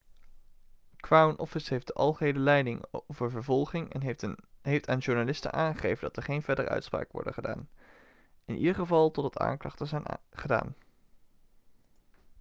crown office heeft de algehele leiding over vervolgingen en heeft aan journalisten aangegeven dat er geen verdere uitspraken worden gedaan in ieder geval totdat aanklachten zijn gedaan